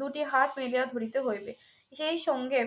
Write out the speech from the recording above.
দুটি হাত মিলিয়া ধরিতে হইবে সেই সঙ্গে